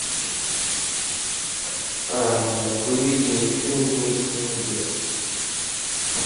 выведи мне фильм миксология